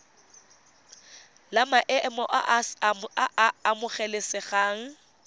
la maemo a a amogelesegang